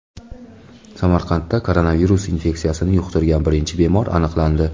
Samarqandda koronavirus infeksiyasini yuqtirgan birinchi bemor aniqlandi.